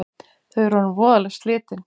Þau eru orðin voðalega slitin